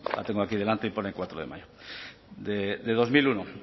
la tengo aquí delante y pone cuatro de mayo de dos mil uno